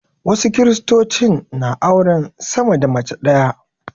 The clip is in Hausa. Wasu Kiristocin na auren sama da mace ɗaya.